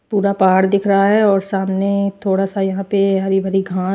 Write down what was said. पूरा पहाड़ दिख रहा है और सामने थोड़ा सा यहां पे हरी भरी घां--